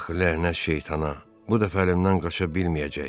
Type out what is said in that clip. Ax, lənət şeytana, bu dəfə əlimdən qaça bilməyəcək.